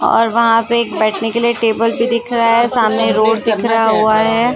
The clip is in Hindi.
और वहां पे एक बैठने के लिए एक टेबल भी दिख रहा हैं सामने रोड दिख रहा हुआ हैं।